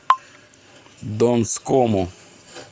донскому